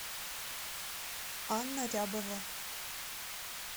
анна рябова